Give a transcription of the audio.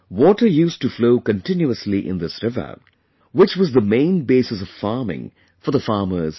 Water used to flow continuously in this river, which was the main basis of farming for the farmers here